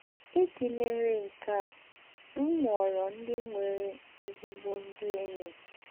Ìjì mèríé nkè á, m mụ́ọrọ̀ ndị̀ nwèrè ézígbò ndị̀ ényí.